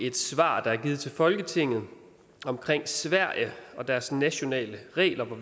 et svar der er givet til folketinget omkring sverige og deres nationale regler der